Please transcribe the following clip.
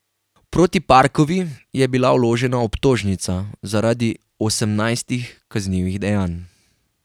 Proti Parkovi je bila vložena obtožnica zaradi osemnajstih kaznivih dejanj.